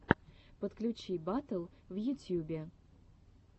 подключи батл в ютьюбе